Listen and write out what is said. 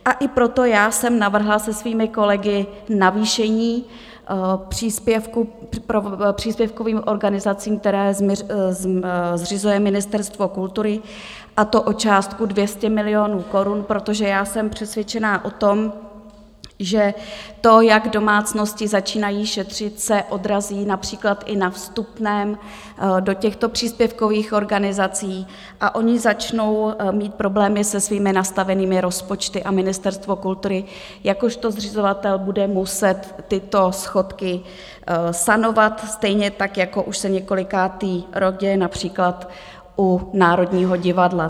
A i proto já jsem navrhla se svými kolegy navýšení příspěvkovým organizacím, které zřizuje Ministerstvo kultury, a to o částku 200 milionů korun, protože já jsem přesvědčená o tom, že to, jak domácnosti začínají šetřit, se odrazí například i na vstupném do těchto příspěvkových organizací, a ony začnou mít problémy se svými nastavenými rozpočty a Ministerstvo kultury jakožto zřizovatel bude muset tyto schodky sanovat, stejně tak jako už se několikátý rok děje například u Národního divadla.